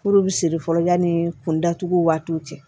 Kuru bi siri fɔlɔ yanni kunda tuguw waatiw cɛ